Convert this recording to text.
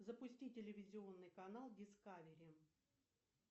запусти телевизионный канал дискавери